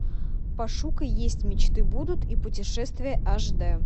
пошукай есть мечты будут и путешествия аш дэ